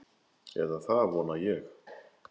Eða það vona ég,